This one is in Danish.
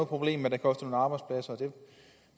problem at det kostede nogle arbejdspladser